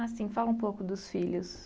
Ah, sim, fala um pouco dos filhos.